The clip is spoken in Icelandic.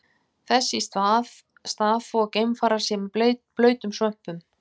Þess í stað þvo geimfarar sér með blautum svömpum.